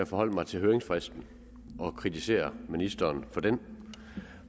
forholde mig til høringsfristen og kritisere ministeren for den